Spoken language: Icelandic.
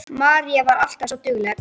Marín var alltaf svo dugleg.